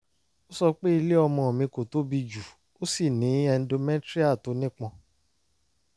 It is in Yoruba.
ó sọ pé ilé ọmọ mi kò tóbi jù ó sì ní endometrial tó nípọn